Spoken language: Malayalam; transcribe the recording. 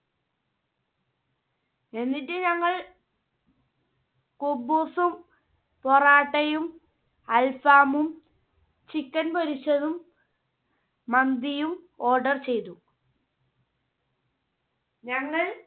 എന്നിട്ട് ഞങ്ങൾ ഖുബൂസും, പൊറാട്ടയും, അൽ ഫാമും, chicken പൊരിച്ചതും, മന്തിയും order ചെയ്തു. ഞങ്ങൾ